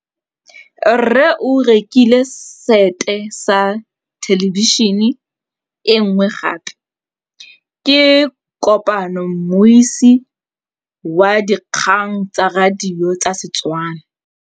Rre o rekile sete ya thêlêbišênê e nngwe gape. Ke kopane mmuisi w dikgang tsa radio tsa Setswana.